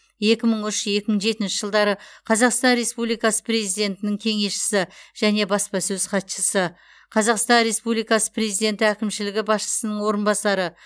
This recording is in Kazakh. екі мың үш екі мың жетінші жылдары қазақстан республикасы президентінің кеңесшісі және баспасөз хатшысы қазақстан республикасы президенті әкімшілігі басшысының орынбасары